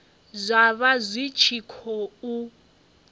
zwa vha zwi tshi khou